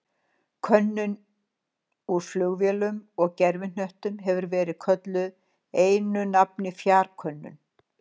Könnun úr flugvélum og gervihnöttum hefur verið kölluð einu nafni fjarkönnun.